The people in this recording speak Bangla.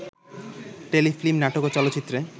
টেলিফিল্ম, নাটক ও চলচ্চিত্রে